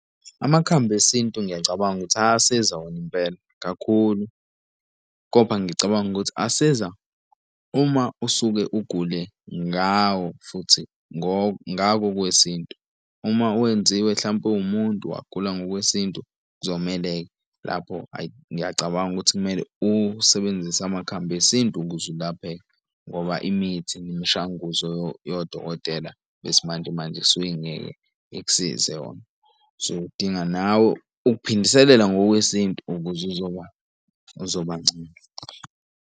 Amakhambi esintu ngiyacabanga ukuthi ayasiza wona impela kakhulu, kodwa ngicabanga ukuthi asiza uma usuke ugule ngawo futhi ngako okwesintu uma wenziwe hlampe uwumuntu wagula ngokwesintu. Kuzomele lapho ayi ngiyacabanga ukuthi kumele usebenzise amakhambi esintu ukuze ulapheke ngoba imithi nemishanguzo yodokotela besimanje manje isuke ingeke ikusize yona. So udinga nawe ukuphindiselela ngokwesintu ukuze uzoba uzobangcono.